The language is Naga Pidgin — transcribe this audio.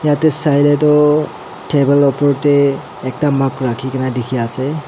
yatae sai lae toh table opor tae ekta mug rakhikae na dikhiase.